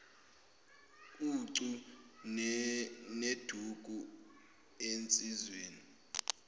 ucu neduku ensizweni